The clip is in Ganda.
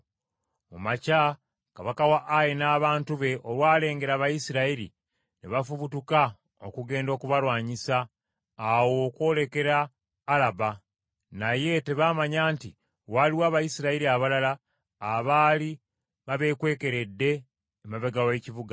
Mu makya kabaka wa Ayi n’abantu be olwalengera Abayisirayiri ne bafubutuka okugenda okubalwanyisa awo okwolekera Alaba, naye tebaamanya nti waaliwo Abayisirayiri abalala abaali babeekwekeredde emabega w’ekibuga.